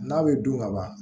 N'a bɛ dun kaban